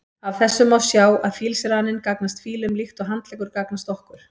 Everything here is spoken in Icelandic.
Af þessu má sjá að fílsraninn gagnast fílum líkt og handleggur gagnast okkur.